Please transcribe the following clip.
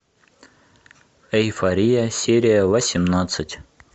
эйфория серия восемнадцать